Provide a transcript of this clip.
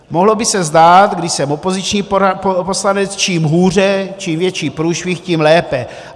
Mohlo by se zdát, když jsem opoziční poslanec, čím hůře, čím větší průšvih, tím lépe.